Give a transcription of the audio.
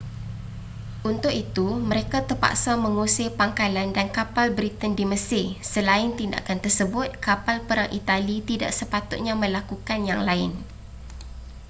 untuk itu mereka terpaksa mengusir pangkalan dan kapal britain di mesir selain tindakan tersebut kapal perang itali tidak sepatutnya melakukan yang lain